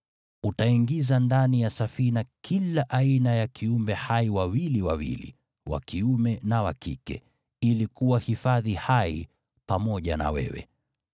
Utaingiza ndani ya Safina kila aina ya kiumbe hai wawili wawili, wa kiume na wa kike, ili kuwahifadhi hai pamoja na wewe.